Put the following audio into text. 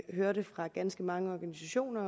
hørt fra ganske mange organisationer